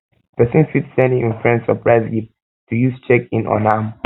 persin fit send im friend surprise gift to use check in on am